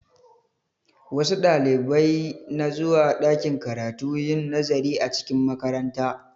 Wasu Ɗalibai na zuwa ɗakin karatu yin nazari a cikin makaranta